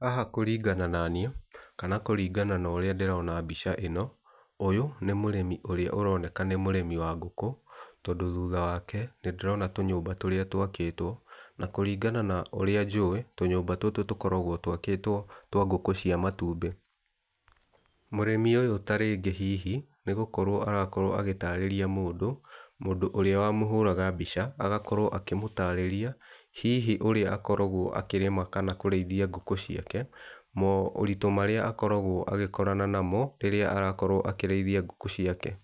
Haha kũringana na niĩ, kana kũrĩngana na ũrĩa ndĩrona mbica ĩno, ũyũ nĩ mũrĩmi ũrĩa ũroneka nĩ mũrĩmi wa ngũkũ, tondũ thutha wake nĩ ndĩrona tũnyũmba tũrĩa twakĩtwo. Na kũringana na ũrĩa njũĩ tũnyũmba tũtũ tũkoragwo twakĩtwo twa ngũkũ cia matumbĩ. Mũrĩmi ũyũ tarĩngĩ hihi nĩ gũkorwo arakorwo agĩtarĩria mũndũ, mũndũ ũrĩa wamũhũraga mbica agakorwo akĩmũtarĩria hihi ũrĩa akoragwo akĩrĩma kana kũrĩithia ngũkũ ciake, maũritũ marĩa akoragwo agĩkorana namo rĩrĩa arakorwo akĩrĩithia ngũkũ ciake.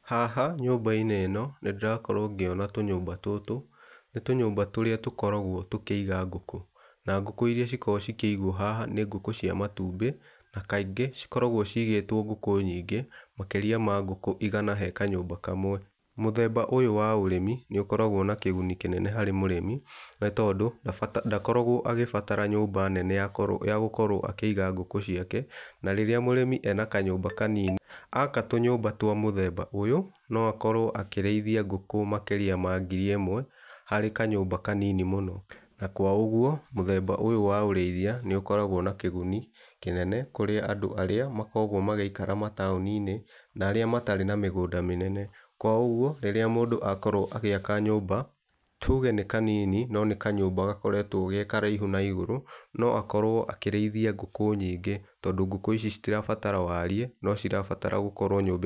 Haha nyũmba-inĩ ĩno nĩ ndĩrakorwo ngĩona tũnyũmba tũtũ, nĩ tũnyũmba tũrĩa tũkoragwo tũkĩiga ngũkũ. Na ngũkũ iria cikoragwo cikĩigwo haha nĩ ngũkũ cia matumbĩ na kaingĩ cikoragwo cigĩtwo ngũkũ nyingĩ makĩrĩa ma ngũkũ igana he kanyũmba kamwe. Mũthemba ũyũ wa ũrĩmi nĩ ũkoragwo na kĩguni kĩnene harĩ mũrĩmi nĩ tondũ ndakoragwo agĩbatara nyũmba nene ya gũkorwo akĩiga ngũkũ ciake na rĩrĩa mũrĩmi ena kanyũmba kanini, aka tũnyũmba twa mũthemba ũyũ, no akorwo akĩrĩithia ngũkũ makĩria ma ngiri ĩmwe, harĩ kanyũmba kanini mũno. Na kwa ũguo mũthemba ũyũ wa ũrĩithia nĩ ukoragwo na kĩguni kĩnene kũrĩ andũ arĩa makoragwo magĩikara mataũni-inĩ na arĩa matarĩ na mĩgũnda mĩnene. Kwa ũguo rĩrĩa mũndũ akorwo agĩaka nyũmba, tuge nĩ kanini no nĩ kanyũmba gakoretwo ge karaihu na igũrũ no akorwo akĩrĩithia ngũkũ nyingĩ tondũ ngũku icio citirabatara warĩe no cirabatara gũkorwo nyũmba.